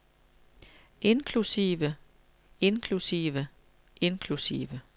inklusive inklusive inklusive